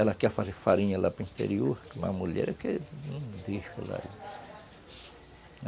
Ela quer fazer farinha lá para o interior, com a mulher, eu que não deixo ela ir